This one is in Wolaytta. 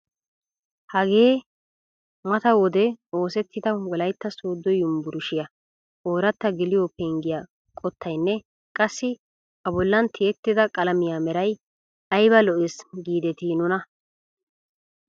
Hagee mata wode oosettida wolaytta sooddo yunburushshiyaa oratta geliyoo penggiyaa qottayinne qassi a bollan tiyettida qalamiyaa meray ayba lo"ees gidetii nuna!